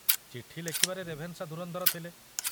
ଚିଠି ଲେଖିବାରେ ରେଭେନଶା ଧୁରନ୍ଧର ଥିଲେ।